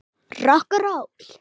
Rokk og ról.